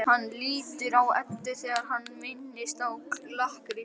Hann lítur á Eddu þegar hann minnist á lakkrísinn.